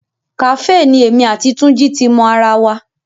Kàfé ni èmi àti Túnjí ti mo ara wa